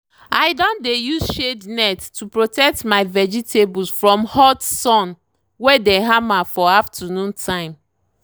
i don dey use shade net to protect my vegetables from hot sun wey the hammer for afternoon time.